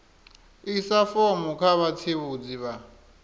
isa fomo kha vhatsivhudzi vha